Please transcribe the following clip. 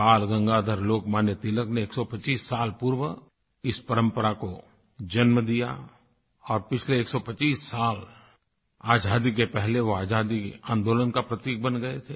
बालगंगाधर लोकमान्य तिलक ने 125 साल पूर्व इस परंपरा को जन्म दिया और पिछले 125 साल आज़ादी के पहले वो आज़ादी के आन्दोलन का प्रतीक बन गए थे